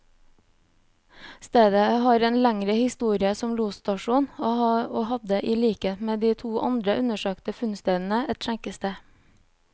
Stedet har en lengre historie som losstasjon, og hadde i likhet med de to andre undersøkte funnstedene, et skjenkested.